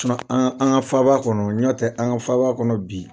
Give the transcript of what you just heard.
an ka an faaba kɔnɔ n'ɔ tɛ an ka faaba kɔnɔ bi.